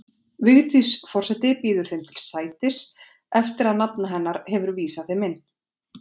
Vigdís forseti býður þeim til sætis, eftir að nafna hennar hefur vísað þeim inn.